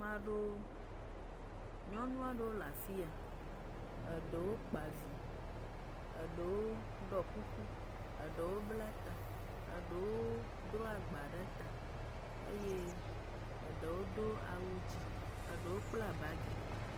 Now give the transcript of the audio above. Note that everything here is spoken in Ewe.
Nyɔnu aɖewo le afi ya, eɖewo kpoa vi, eɖewo ɖɔ kuku, eɖewo dro agba ɖe ta eye eɖewo kpla bagi. Ame aɖewo….